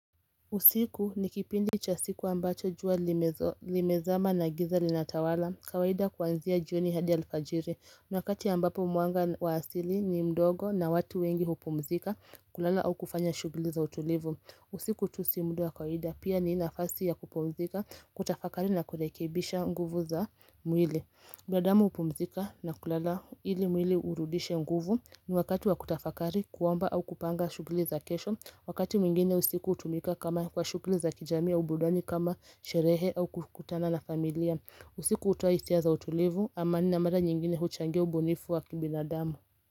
Usiku ni kipindi cha siku ambacho jua limezama na giza linatawala kawaida kuanzia jioni hadi alfajiri. Niwakati ambapo mwanga waasili ni mdogo na watu wengi hupumzika kulala au kufanya shughuli za utulivu. Usiku tusi mudawa kawaida pia ni nafasi ya kupumzika kutafakari na kurekebisha nguvu za mwili. Binadamu hupumzika na kulala ili mwili urudishe nguvu ni wakati wakutafakari kuomba au kupanga shughuli za kesho Wakati mwingine usiku hutumika kama kwa shughuli za kijamii au burudani kama sherehe au kukutana na familia usiku hutoa hisia za utulivu amani na mara nyingine huchangia ubunifu wa kibina damu.